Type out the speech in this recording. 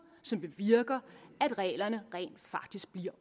som bevirker at reglerne rent faktisk bliver